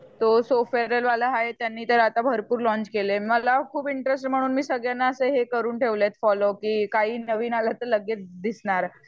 तो सोफेराल वाला हाय त्याने तर आता भरपूर लौंच केले. मला खूप इंटरेस्ट आहे म्हणून मी सगळ्यांना असे हे करून ठेवलेत फोलो करून ठेवलेत कि काही नवीन आल तर लगेच दिसणार. पण